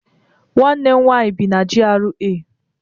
Nwanne m nwaanyị bi na GRA.